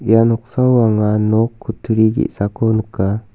ia noksao anga nok kutturi ge·sako nika.